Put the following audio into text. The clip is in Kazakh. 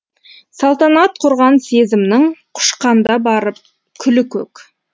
салтанат құрған сезімнің құшқанда барып күлі көк